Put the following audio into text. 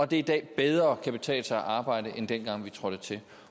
det i dag bedre kan betale sig at arbejde end dengang vi trådte til